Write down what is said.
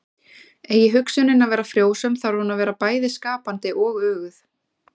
Eigi hugsunin að vera frjósöm þarf hún að vera bæði skapandi og öguð.